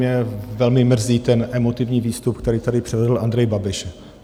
Mě velmi mrzí ten emotivní výstup, který tady předvedl Andrej Babiš.